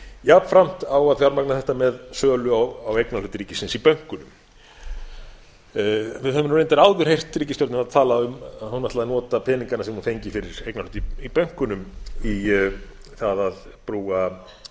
jafnframt á að fjármagna þetta með sölu á eignarhlut ríkisins bönkunum við höfum reyndar áður heyrt ríkisstjórnina tala um að hún ætlaði að nota peningana sem hún fengi fyrir eignarhald í bönkunum í það að brúa